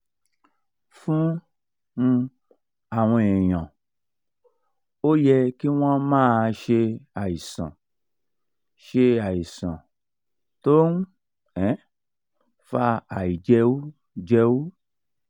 fún um àwọn èèyàn ó yẹ kí wọ́n máa ṣe àìsàn ṣe àìsàn tó ń um fa àìjẹújẹú um